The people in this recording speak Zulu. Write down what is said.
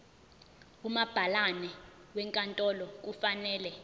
umabhalane wenkantolo kufanele